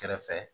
Kɛrɛfɛ